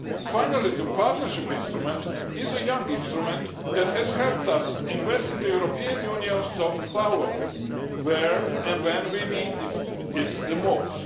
Finally, the Partnership Instrument is a young instrument that has helped us invest in the European Union's soft power, where and when we needed it the most.